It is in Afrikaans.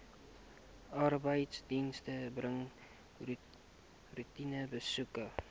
arbeidsdienste bring roetinebesoeke